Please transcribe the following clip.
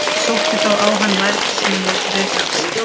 Sótti þá á hann værð sem hann vildi reka af sér.